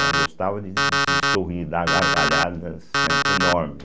Ela gostava de de sorrir, dar gargalhadas, né, enormes.